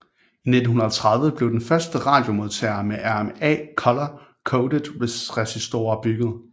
I 1930 blev den første radiomodtager med RMA color coded resistorer bygget